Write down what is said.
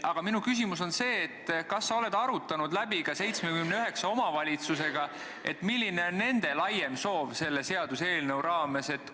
Minu küsimus on see: kas sa oled arutanud ka 79 omavalitsusega, milline on nende laiem soov selle seaduseelnõu raames?